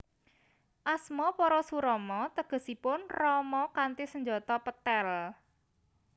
Asma Parashurama tegesipun Rama kanthi senjata pethèl